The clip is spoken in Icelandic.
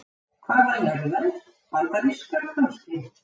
Hvaðan eru þær. bandarískar kannski?